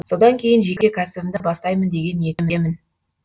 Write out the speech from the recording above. содан кейін жеке кәсібімді бастаймын деген ниетімдемін